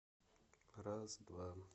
раз два